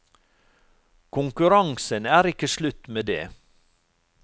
Konkurransen er ikke slutt med det.